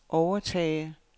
overtage